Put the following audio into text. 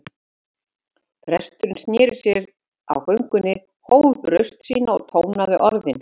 Presturinn sneri sér við á göngunni, hóf upp raust sína og tónaði orðin